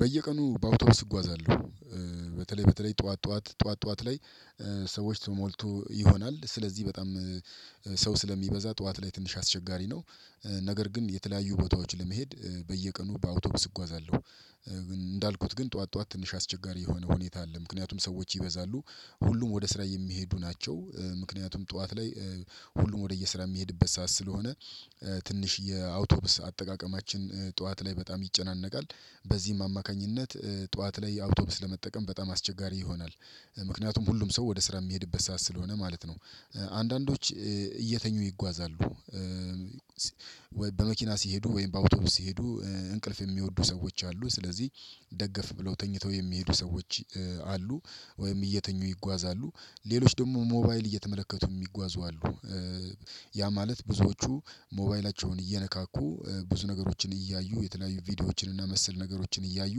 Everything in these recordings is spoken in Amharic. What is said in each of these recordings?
በየቀኑ በአውቶቢስ እጓዛለሁ በተለይ በተለይ ጠዋት ጠዋት ጠዋት ጠዋት ጠዋት ላይ ሰዎች ተሞልቶ ይሆናል ስለዚህ በጣም ሰው ስለሚበዛ ጠዋት ላይ ትንሽ አስቸጋሪ ነው። ነገር ግን የተለያዩ ቦታዎች ለመሄድ በየቀኑ በአውቶቡስ እጓዛለሁ። እንዳልኩት ግን ጠዋት ጠዋት ትንሽ አስቸጋሪ የሆነ ሁኔታ አለ። ምክንያቱም ሰዎች ይበዛሉ ሁሉም ወደ ስራ የሚሄዱ ናቸው ምክንያቱም ጠዋት ላይ ሁሉም ወደየ ስራ የሚሄድበት ሰዓት ስለሆነ። ትንሽ የአውቶብስ አጠቃቀማችን ጠዋት ላይ በጣም ይጨናነቃል። በዚህም አማካኝነት ጠዋት ላይ አውቶብስ ለመጠቀም በጣም አስቸጋሪ ይሆናል። ምክንያቱም ሁሉም ሰው ወደ ስራ የሚሄድበት ሰዓት ስለሆነ ማለት ነው። አንዳንዶች እየተኙ ይጓዛሉ። በመኪና ሲሄዱ ወይም በአውቶቡስ ሲሄዱ እንቅልፍ የሚወዱ ሰዎች አሉ ስለዚህ ደገፍ ብለው ተኝተው የሚሄዱ ሰዎች አሉ። ወይም እየተኙ ይጓዛሉ ሌሎች ደግሞ ሞባይል እየተመለከቱ የሚጓዙ አሉ። ያ ማለት ብዙዎቹ ሞባይላቸውን እየነካኩ ብዙ ነገሮችን እያዩ የተለያዩ ቪዲዮዎችን እና መሰል ነገሮችን እያዩ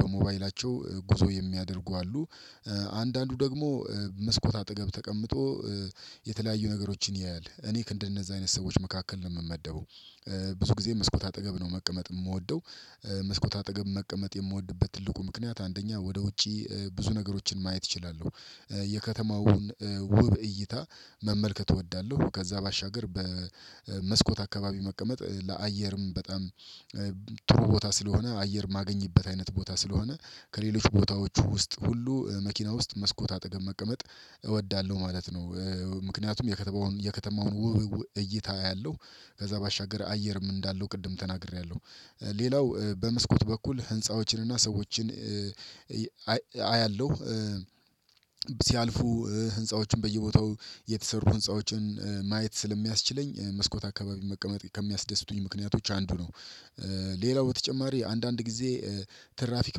በሞባይላቸው ጉዞ የሚያደርጉ አሉ። አንዳንዱ ደግሞ መስኮት አጠገብ ተቀምጦ የተለያዩ ነገሮችን ያያል እኔ ክንድ እንደነዛ አይነት ሰዎች መካከል ነው የምመደበው። ብዙ ጊዜ መስኮት አጠገብ ነው መቀመጥ የምወደው። መስኮት አጠገብ መቀመጥ የምወድበት ትልቁ ምክንያት አንደኛ ወደ ውጪ ብዙ ነገሮችን ማየት እችላለሁ። የከተማውን ውብ እይታ መመልከት እወዳለሁ። ከዛ ባሻገር በመስኮት አካባቢ መቀመጥ ለአየርም በጣም ቦታ ስለሆነ አየር ማገኝበት አይነት ቦታ ስለሆነ። ከሌሎች ቦታዎቹ ውስጥ ሁሉ መኪና ውስጥ መስኮት አጠገብ መቀመጥ እወዳለሁ ማለት ነው። ምክንያቱም የከተማውን ውውውው እይታ አያለሁ ከዛ ባሻገር አየርም እንዳለው ቅድም ተናግሬያለሁ። ሌላው በመስኮት በኩል ህንፃዎችን እና ሰዎችን አያለሁ ሲያልፉ ህንፃዎችን በየቦታው የተሰሩ ህንፃዎችን ማየት ስለሚያስችለኝ መስኮት አካባቢ መቀመጥ ከሚያስደስቱኝ ምክንያቶች አንዱ ነው። ሌላው በተጨማሪ አንዳንድ ጊዜ ትራፊክ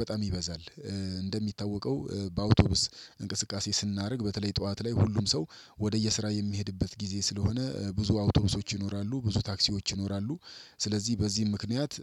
በጣም ይበዛል። እንደሚታወቀው በአውቶቡስ እንቅስቃሴ ስናደርግ በተለይ ጠዋት ላይ ሁሉም ሰው ወደየስራ የሚሄድበት ጊዜ ስለሆነ ብዙ አውቶቡሶች ይኖራሉ ብዙ ታክሲዎች ይኖራሉ ስለዚህ በዚህም ምክንያት